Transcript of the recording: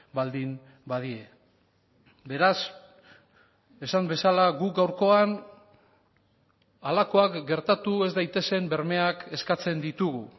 baldin badie beraz esan bezala guk gaurkoan halakoak gertatu ez daitezen bermeak eskatzen ditugu